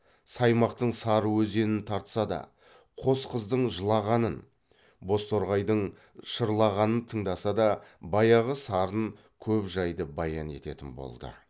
саймақтың сары өзенін тартса да қос қыздың жылағанын боз торғайдың шырлағанын тыңдаса да баяғы сарын көп жайды баян ететін болды